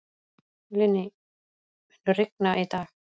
Linnea, mun rigna í dag?